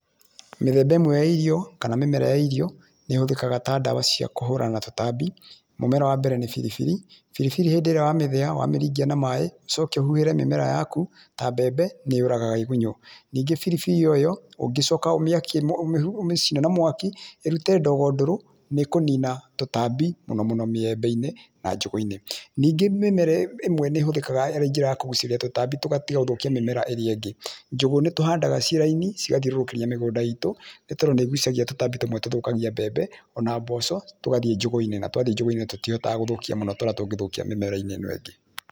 Mĩthemba ĩmwe ya irio kana mĩmera ya irio nĩ ĩhũthĩkaga ta ndawa cia kũhũrana na tũtambi. Mũmera wa mbere nĩ biribiri, biribiri hĩndĩ ĩrĩa wa mĩthĩa na wamĩringia na maĩ, ũcoke ũhuhĩre mĩmera yaku ta mbembe nĩ yũragaga ĩgunyũ nĩngĩ biribiri oro ĩyo ũngĩcoka ũmĩakie ũmĩcine na mwaki ĩrute ndogo ndũrũ nĩ kũnina tũtambi mũno mũno mĩembe-inĩ na njũgũ-inĩ. Ningĩ mĩmera ĩmwe nĩ ĩhũthĩkaga ĩrĩ njĩra ya kũgucĩrĩria tũtambi tũgatiga gũthũkia mĩmera ĩrĩa ĩngĩ. Njũgũ nĩ tũhandaga ciĩ laini cigathiũrũrũkĩria mĩgũnda itũ nĩ tondũ nĩ igucagĩrĩria tũtambi tũmwe tũthũkagia mbembe ona mboco tũgathiĩ njũgũ-inĩ, na twa thiĩ njũgũ-inĩ tũtihotaga gũthũkia mũno, ta ũrĩa tũngĩthukia mĩmera-inĩ ĩno ĩngĩ.